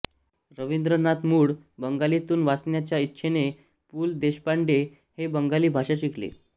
रविंद्रनाथ ्मूळ बंगालीतून वाचण्याच्या इच्छेने पु ल देशपांडे हे बंगाली भाषा शिकले